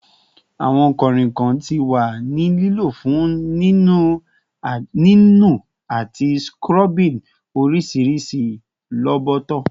Awọn kanrinkan ti wa ni lilo fun ninu ati scrubbing orisirisi roboto